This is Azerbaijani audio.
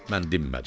Mən dinmədim.